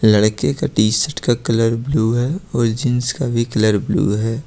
लड़के का टी_शर्ट का कलर ब्लू है और जींस का भी कलर ब्लू है।